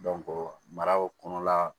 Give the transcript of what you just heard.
maraw kɔnɔla